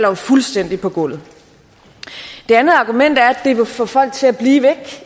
jo fuldstændig på gulvet det andet argument er at det vil få folk til at blive væk